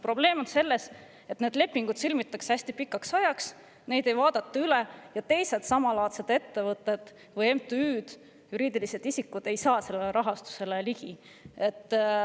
Probleem on selles, et need lepingud sõlmitakse hästi pikaks ajaks, neid ei vaadata üle ning teised samalaadsed ettevõtted või MTÜ-d, juriidilised isikud, ei saa sellele rahastusele ligi.